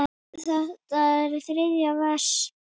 Þetta er þriðja vers.